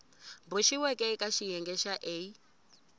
boxiweke eka xiyenge xa a